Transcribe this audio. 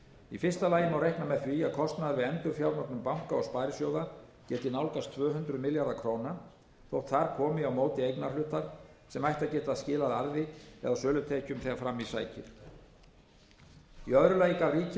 í fyrsta lagi má reikna með því að kostnaður við endurfjármögnun banka og sparisjóða gæti nálgast tvö hundruð milljarða króna þótt þar komi á móti eignarhlutar sem ættu að geta skilað arði eða sölutekjum þegar fram í sækir í öðru lagi gaf ríkið út